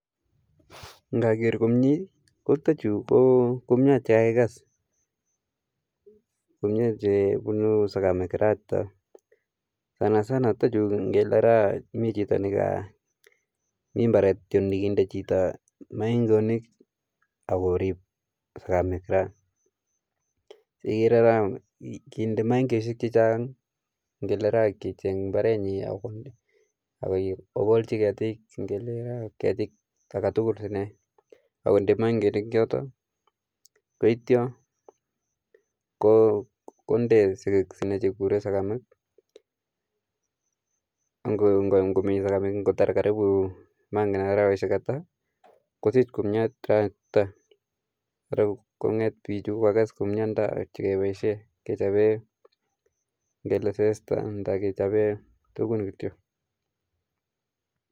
Indoker komie ko chuton chu, ko kumiat chekakeges. Kumiat chebunu segemik, Sana Sana chuton chu ingele miii chito, mi mbaret kityok nekiinde chito, maing'oonik ak korib segemik. Igere rani inde maing'osiek chechang, ak icheng imbarenyin ak okolchii ketik. Ingele ketiik agetugul ine, akonde moing'oonik choton koityoo konde tuguk cheiburen segemiik. Ango mi segemik, angotar karibu arawek ata, kosich komiat any. Konget bichu koges kumiat sikeboishien kechoben ingele sezta. Ak kichoben tuguun chu.